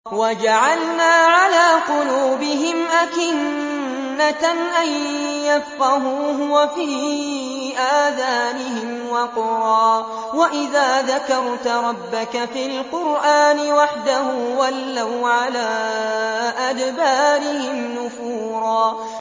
وَجَعَلْنَا عَلَىٰ قُلُوبِهِمْ أَكِنَّةً أَن يَفْقَهُوهُ وَفِي آذَانِهِمْ وَقْرًا ۚ وَإِذَا ذَكَرْتَ رَبَّكَ فِي الْقُرْآنِ وَحْدَهُ وَلَّوْا عَلَىٰ أَدْبَارِهِمْ نُفُورًا